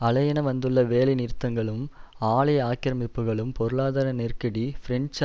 அலையென வந்துள்ள வேலைநிறுத்தங்களும் ஆலை ஆக்கிரமிப்புக்களும் பொருளாதார நெருக்கடி பிரெஞ்சு